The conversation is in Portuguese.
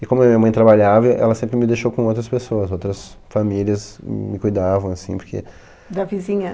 E como a minha mãe trabalhava, ela sempre me deixou com outras pessoas, outras famílias me cuidavam, m assim, porque... Da vizinhança.